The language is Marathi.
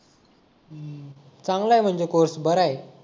चांगला आहे म्हणजे कोर्स बरा हाय